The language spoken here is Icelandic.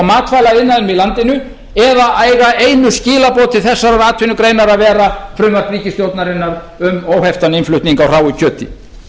matvælaiðnaðinum í landinu eða eiga einu skilaboð til þessarar atvinnugreinar að vera frumvarp ríkisstjórnarinnar um óheftan innflutning á hráu kjöti